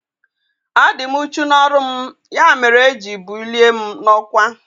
A dị m uchu n'ọrụ m ya mere e ji bulie m n'ọkwá